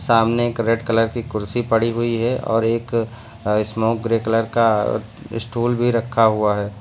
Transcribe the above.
सामने एक red colour की कुर्सी पड़ी हुई है और एक स्मोक ग्रे कलर का स्टूल भी रखा हुआ है।